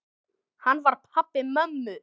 Hann var pabbi mömmu.